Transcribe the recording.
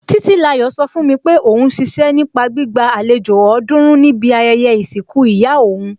Títílayọ̀ sọ fún mi pé òún ṣiṣẹ́ nípa gbígba àlejò ọ̀ọ́dúrún níbi ayẹyẹ ìsìnkú ìyá òún